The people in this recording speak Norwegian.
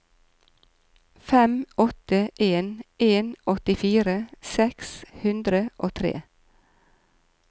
fem åtte en en åttifire seks hundre og tre